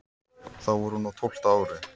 Þá var hún á tólfta ári.